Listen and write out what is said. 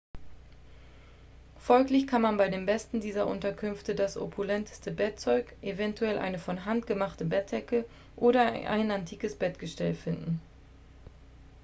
folglich kann man bei den besten dieser unterkünfte das opulenteste bettzeug eventuell eine von hand gemachte bettdecke oder ein antikes bettgestell finden